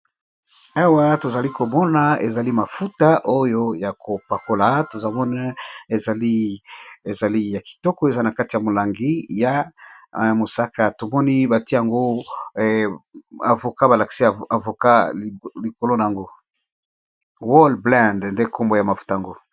Awa tozali komona ezali mafuta oyo ya kopakola, tozomona ezali ya kitoko eza na kati ya molangi ya mosaka. Tomoni batie yango avocat ba lakisi avocat likolo nango, whole blend nde nkombo ya mafuta yango.